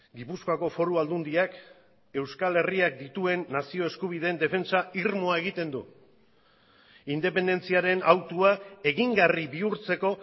gipuzkoako foru aldundiak euskal herriak dituen nazio eskubideen defentsa irmoa egiten du independentziaren hautua egingarri bihurtzeko